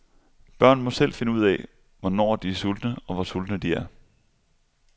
Børn må selv finde ud af, hvornår de er sultne og hvor sultne de er.